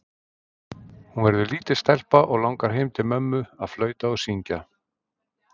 Hún verður lítil stelpa og langar heim til mömmu að flauta og syngja.